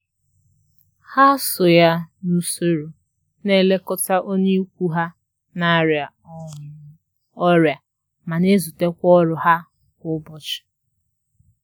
Ha so ya n'usoro na elekọta onye ikwu ha na-arịa um ọrịa ma n'ezute kwa ọrụ ha kwa ụbọchị.